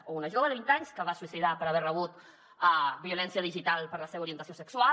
o una jove de vint anys que es va suïcidar per haver rebut violència digital per la seva orientació sexual